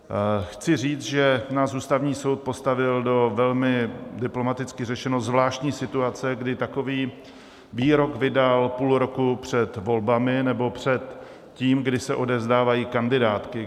Chci říct, že nás Ústavní soud postavil do velmi - diplomaticky řečeno - zvláštní situace, kdy takový výrok vydal půl roku před volbami, nebo před tím, kdy se odevzdávají kandidátky.